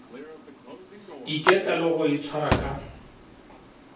iketla le go itshwara ka